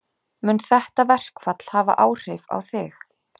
Mun þetta verkfall hafa áhrif á þig?